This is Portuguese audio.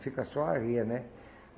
Fica só a areia, né?